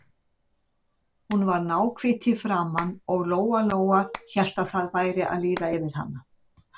Hún var náhvít í framan og Lóa-Lóa hélt að það væri að líða yfir hana.